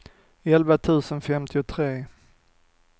elva tusen femtiotre